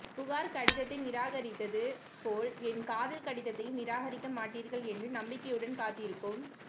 புகார் கடிதத்தை நிராகரித்தது போல் என் காதல் கடிதத்தையும் நிராகரிக்க மாட்டீர்கள் என்று நம்பிக்கையுடன் காத்திருக்கும்